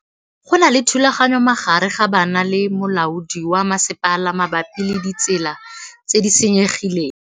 Go na le thulanô magareng ga banna le molaodi wa masepala mabapi le ditsela tse di senyegileng.